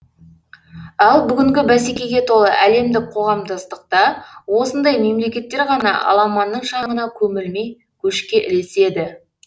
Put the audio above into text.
ал бүгінгі бәсекеге толы әлемдік қоғамдастықта осындай мемлекеттер ғана аламанның шаңына көмілмей көшке ілеседі